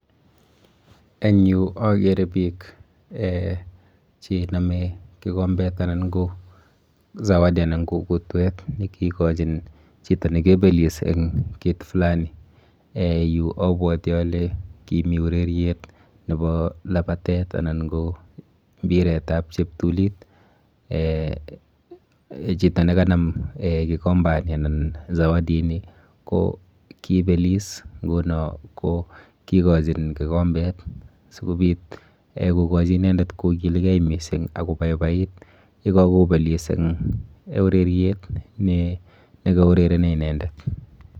Eng yu akere biik um chenome kikombet anan ko zawadi anan ko kutwet nekikochin chito nikebelis eng kit fulani. um Yu abwoti ale kimi ureryet nepo lapatet anan ko mbiretap cheptulit. um Chito nekanam um kikombani anan [cszawadi ini ko kiibelis nguno ko kikochin kikombet sikobit kokochi inendet kokilgei mising akobaibait yekakobelis eng ureriet nekaurereni inendet.